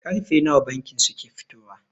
Karfe nawa bankin suke fitowa?